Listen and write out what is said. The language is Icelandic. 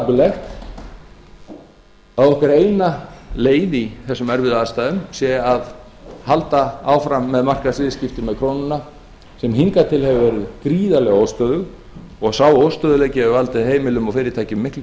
dapurlegt að okkar eina leið í þessum erfiðu aðstæðum sé að halda áfram markaðsviðskiptum með krónuna sem hingað til hefur verið gríðarlega óstöðug og sá óstöðugleiki hefur valdið heimilum og fyrirtækjum miklu